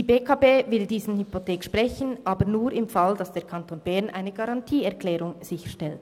Die BEKB will diese Hypothek sprechen, aber nur, falls der Kanton Bern eine Garantieerklärung sicherstellt.